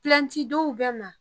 Pilɛntidonw bɛ ma